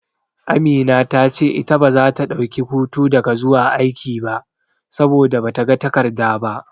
Amina ta ce ita baza ta dauki hutu daga zuwa aiki ba, saboda bata ga takarda ba.